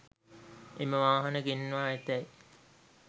එම වාහන ගෙන්වා ඇතැයි